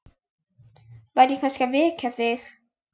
Var ég kannski að vekja þig?